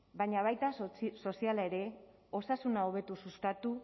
baina baita soziala ere osasuna hobetu sustatu